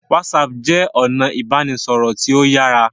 Whatsapp jé ọnà ibanisọrọ tíó yàrá